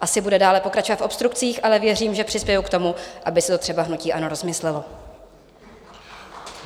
Asi bude dále pokračovat v obstrukcích, ale věřím, že přispěji k tomu, aby si to třeba hnutí ANO rozmyslelo.